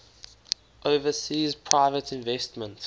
overseas private investment